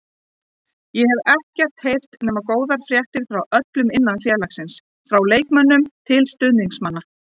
Ég hef ekkert heyrt nema góðar fréttir frá öllum innan félagsins, frá leikmönnum til stuðningsmanna.